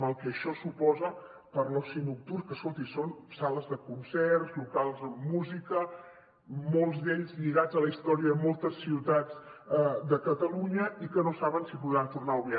el mal que això suposa per a l’oci nocturn que escolti són sales de concerts locals amb música molts d’ells lligats a la història de moltes ciutats de catalunya i que no saben si podran tornar a obrir